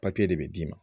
de bɛ d'i ma